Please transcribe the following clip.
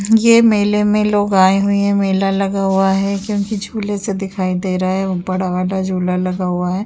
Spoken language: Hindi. यह मेले में लोग आए हुए है। मेला लगा हुआ है क्योंकि झूले से दिखाई दे रहा है बड़ा वाला झूला लगा हुआ है।